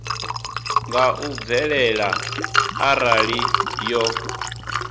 nga u bvelela arali yo